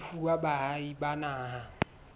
e fuwa baahi ba naha